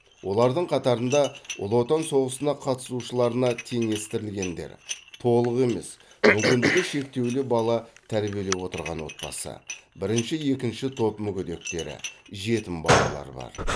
олардың қатарында ұлы отан соғысына қатысушыларына теңестірілгендер толық емес мүмкіндігі шектеулі бала тәрбиелеп отырған отбасы бірінші екінші топ мүгедектері жетім балалар бар